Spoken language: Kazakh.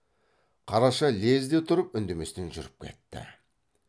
қараша лезде тұрып үндеместен жүріп кетті